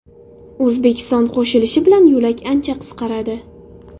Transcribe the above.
O‘zbekiston qo‘shilishi bilan yo‘lak ancha qisqaradi.